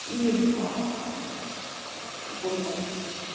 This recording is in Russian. или в ээ в онлайн